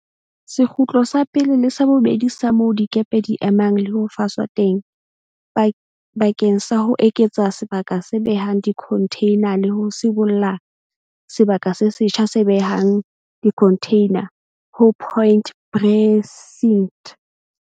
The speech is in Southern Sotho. Sekgutlo sa pele le sa bobedi sa moo dikepe di emang le ho faswa teng bakeng sa ho eketsa sebaka se behang dikhontheina le ho sibolla sebaka se setjha se behang dikhontheina ho Point Precinct.